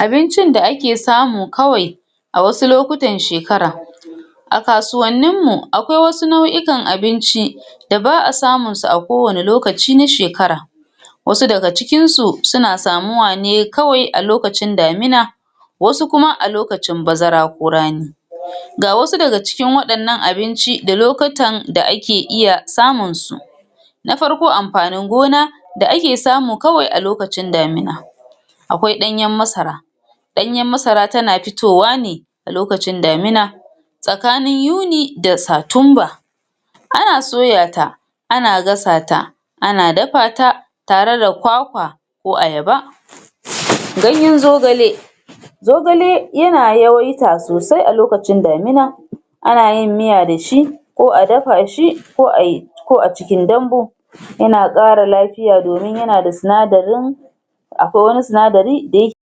abincin da ake samu kawe a wasu lokutan shekara a kasuwanninmu a kwai wasu nau'ikan abinci da ba a samunsu a kowani lokaci na shekara wasu daga cikinsu suna samuwa ne kawai a lokacin damina wasu kuma a lokacin bazara ko rani ga wasu daga cikin wadannan abinci da lkutan da ake iya samunsu na farko amfanin gona da ake samu kawai a lokacin damina awai danyan masara danyan masara tana fitowa ne a lokacin damina tsakanin yuni da satimba ana sooyata ana gasata ana dafata tare da kwa-kwa ko ayaba ganyan zogale ganyan zogale yana yoyuka sosai a lokacin damina ana yin miya da shi ko a dafa shi ko a, ko acikin dambu yana kara lafiya domin yana da sinadarin akwai wani sinadari da yake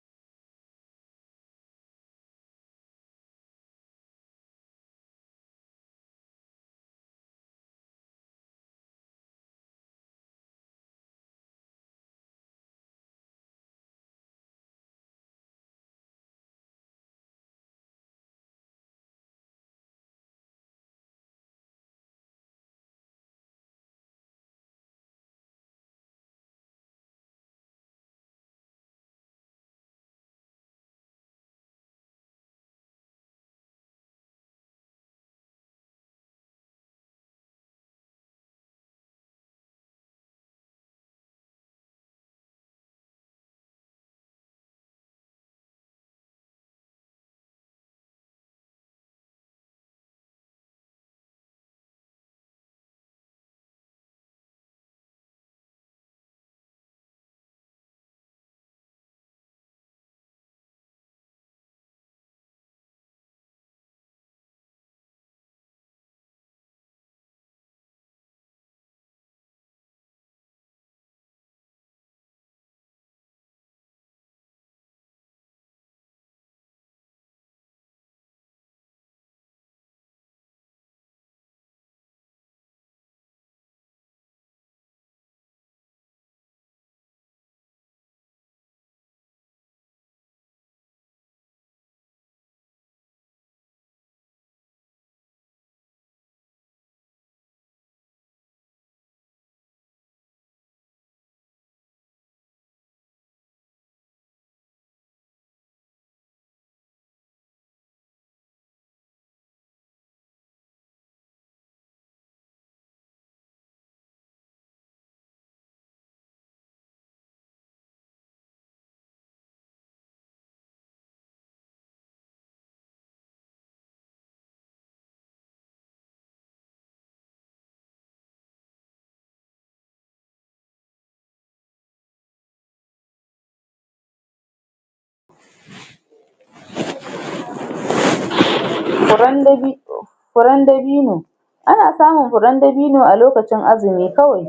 furanda furndabino furan dabino ana samun furan dabino alokacin a lokacon azimi kawai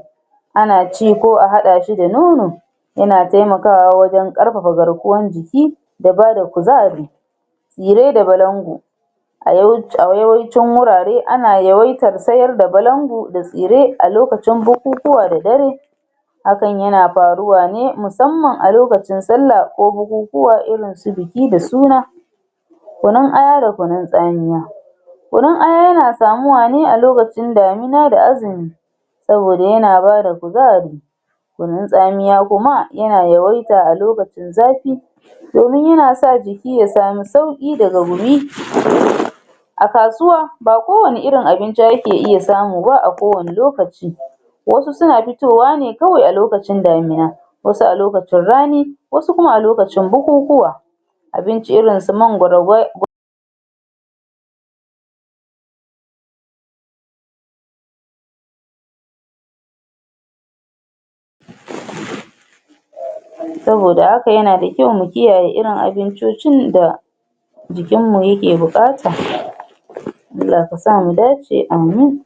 ana ci koa hada shi da nono yana temakawa wajan karfafa garkuwan jiki da bada kuzari tsire da balango a yawaicin a yawaicin wurare ana yawaitar sayar da balando da tsire alkacin bukukuwa da dare hakan yana faruwa ne musamman a lokcin salla ko bukukuwa irin su biki da suna kunin aya da na tsamiya kunun aya na samuwane alokacin damina da azimi saboda yana bada kuzari kunin tsamiya kuma yana yawaita a lokacin zafi domin yana sa jiki ya samu sauki daga gumi a kasuwa ba kowani irin abinci ake iya samu ba a kowani lokaci wasu na fitowa nekawai a lokacin damuna wasu a lokacin rani wasu kuma a lokacin bukukuwa abinci irin su mangwaro gwi gwai saboda haka yana da kyau mu kiyaye irin abincocin da jikinmu yake bukata Allah ya sa mu dace amin